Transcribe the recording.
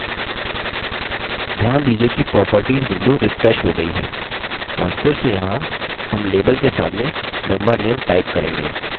ध्यान दीजिए कि properties window refreshed हो गयी है और फिर से यहाँ हम label के सामने member name type करेंगे